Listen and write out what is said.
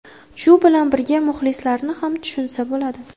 Shu bilan birga, muxlislarni ham tushunsa bo‘ladi.